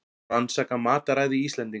Rannsaka mataræði Íslendinga